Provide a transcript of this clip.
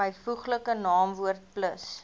byvoeglike naamwoord plus